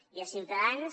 i a ciutadans